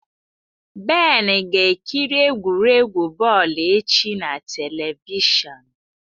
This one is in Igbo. Ben ga ekiri egwuregwu bọọlụ echi na televishọn.